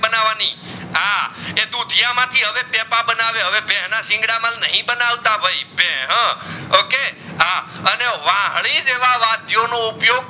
બનાવાની હ એ હું ધિયા માં થી હવે ટેપા બનાવ્યા હવે ભે ના સિંઘેડા નહીં બનાવતા ભાઈ ભેહ okay